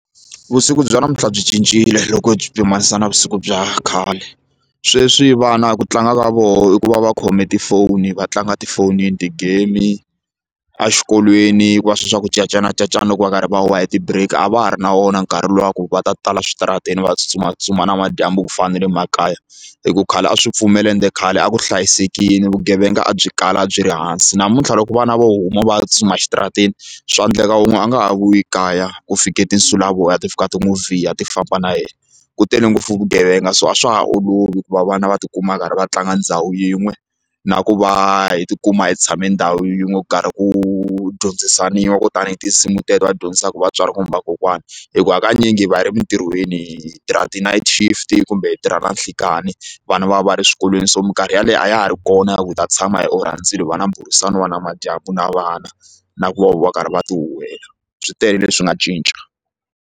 Vusiku bya namuntlha byi cincile loko byi pimanisa na vusiku bya khale sweswi vana ku tlanga ka vona i ku va va khome tifoni va tlanga tifonini ti-game exikolweni kuva sweswiya swa ku cacana cacana loko va karhi va huhwa hi ti-break a va ha ri na wona nkarhi luwa ku va ta tala switarateni va tsutsumatsutsuma namadyambu ku fana na le makaya hi ku khale a swi pfumela ende khale a ku hlayisekile vugevenga a byi kala a byi ri hansi namuntlha loko vana vo huma va tsutsuma exitarateni swa endleka wun'we a nga ha vuyi kaya ku fike tinsulavoya ti fika ti n'wi vhiya ti famba na yena ku tele ngopfu vugevenga so a swa ha olovi ku va vana va tikuma va karhi va tlanga ndhawu yin'we na ku va hi tikuma hi tshame ndhawu yin'we ku karhi ku dyondzisaniwa ku tanihi tinsimu teto va dyondzisaka vatswari kumbe va kokwani hi ku hakanyingi hi va ri emintirhweni tirha ti-night shift kumbe hi tirha na nhlikani vana va va va ri swikolweni so minkarhi yaleyo a ya ha ri kona ya ku hi ta tshama hi orha ndzilo va va na mbhurisano namadyambu na vana na ku va va karhi va ti huwela swi tele leswi nga cinca.